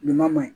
Nin ma ɲi